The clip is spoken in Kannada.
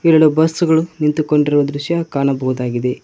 ಎರಡು ಬಸ್ ಗಳು ನಿಂತುಕೊಂಡಿರುವ ದೃಶ್ಯ ಕಾಣಬಹುದಾಗಿದೆ.